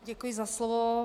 Děkuji za slovo.